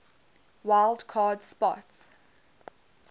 wild card spot